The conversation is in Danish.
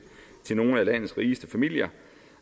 til nogle af landets rigeste familier